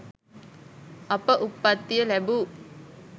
අප උප්පත්තිය ලැබූ